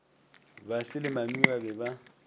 basi le mami ba be